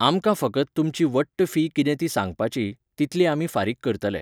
आमकां फकत तुमची वट्ट फी कितें ती सांगपाची, तितली आमी फारीक करतले.